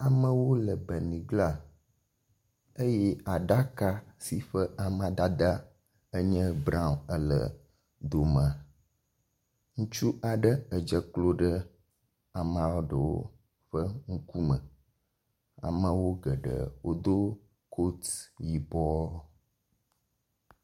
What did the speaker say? Amewo le beniglã eye aɖaka si ƒe amadede nye brɔaŋ ele domea. Ŋutsu aɖe dze klo ɖe amea ɖewo ƒe ŋkume. Ameawo geɖe wodo kotu yibɔ.